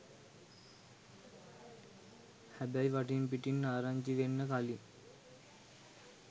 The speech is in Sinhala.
හැබැයි වටින් පිටින් ආරංචි වෙන්න කලින්